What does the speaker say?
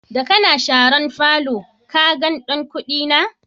Da kana sharan falon, ka gan ɗan Kuni na?